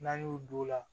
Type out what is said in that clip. N'an y'o don o la